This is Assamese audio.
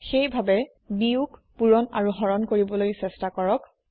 সেয়ে ভাবে ভাৱে বিয়োগ পুৰণ আৰু হৰণ কৰিবলৈ চেষ্টা কৰক